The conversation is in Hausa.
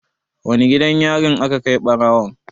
Wane gidan yarin aka kai ɓarawon?